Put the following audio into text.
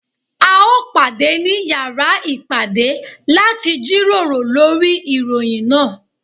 A ó pàdé ní yàrá ìpàdé láti jíròrò lórí ìròyìn náà.